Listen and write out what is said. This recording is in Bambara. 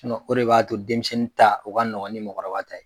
O de b'a to denmisɛnnin ta o ka nɔgɔn ni mɔgɔkɔrɔba ta ye